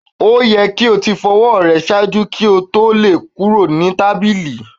O yẹ ki o ti fọ awo rẹ ṣaaju ki o to lọ kuro ni tabili!